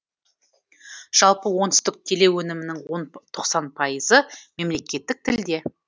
жалпы оңтүстік телеөнімінің тоқсан пайызы мемлекеттік тілде